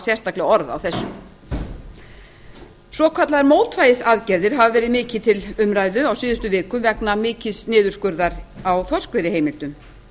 sérstaklega orð á þessu svokallaðar mótvægisaðgerðir hafa verið mikið til umræðu á síðustu vikum vegna mikils niðurskurðar á þorskveiðiheimildum